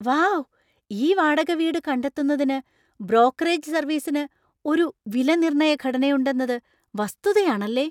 Wow , ഈ വാടക വീട് കണ്ടെത്തുന്നതിന് ബ്രോക്കറേജ് സര്‍വീസിനു ഒരു വിലനിർണ്ണയ ഘടനയുണ്ടെന്നത് വസ്തുതയാണല്ലേ.